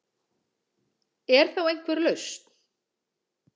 Er þá einhver lausn